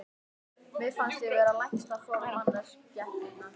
Mér fannst ég vera lægsta form mannskepnunnar.